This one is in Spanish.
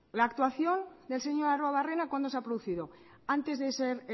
la actuación del señor arruebarrena cuándo se ha producido antes de ser